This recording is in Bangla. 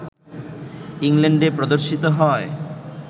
ইংল্যান্ডে প্রদর্শিত হয়